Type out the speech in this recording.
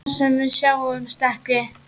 Þar sem við sjáumst ekki.